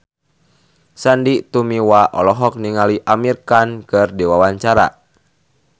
Sandy Tumiwa olohok ningali Amir Khan keur diwawancara